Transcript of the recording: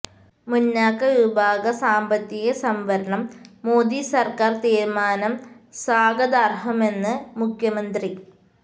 മുന്നാക്ക വിഭാഗ സാമ്പത്തിക സംവരണം മോദി സര്ക്കാര് തീരുമാനം സ്വാഗതാര്ഹമെന്ന് മുഖ്യമന്ത്രി